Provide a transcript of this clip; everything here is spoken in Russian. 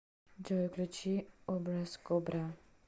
джой включи образкобра